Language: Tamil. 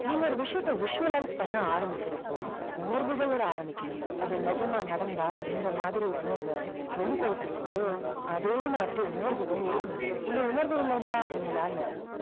நீங்க ஒரு விஷயத்தை visualize பண்ண ஆரம்பிக்கிறப்போ உணர்வுகளோடு ஆரம்பிக்கணும். அது நிஜமா நடந்தா எந்த மாதிரி உணர்வ வெளிப்படுத்துவீங்களோ அதே மாதிரி உணர்வுகள் இருக்கணும். இந்த உணர்வு இல்லைன்னா உங்களால